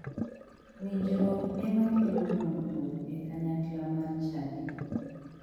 Winjruok ema kelo dongruok e kanyakla mar chadi